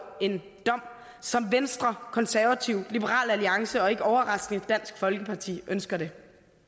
en dom som venstre konservative liberal alliance og ikke overraskende dansk folkeparti ønsker det